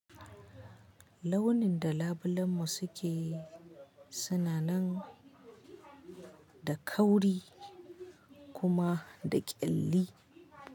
Launin da labilan mu suke suna nan da kauri kuma da kyalli.